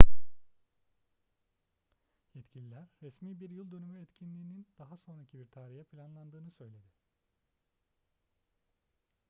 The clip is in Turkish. yetkililer resmi bir yıl dönümü etkinliğinin daha sonraki bir tarihe planlandığını söyledi